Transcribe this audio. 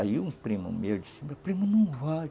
Aí um primo meu disse, meu primo não vai.